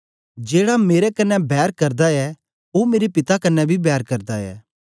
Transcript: जेड़ा मेरे कन्ने बैर करदा ऐ ओ मेरे पिता कन्ने बी बैर करदा ऐ